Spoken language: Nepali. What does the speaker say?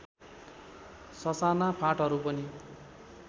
ससाना फाँटहरू पनि